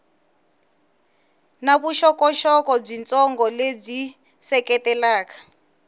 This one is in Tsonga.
na vuxokoxoko byitsongo lebyi seketelaka